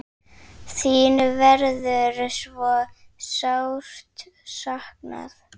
Þín verður svo sárt saknað.